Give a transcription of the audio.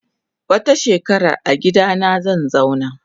Wata shekarar agidana zanzauna.